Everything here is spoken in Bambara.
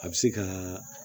A bɛ se ka